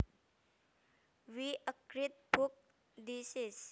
What a great book this is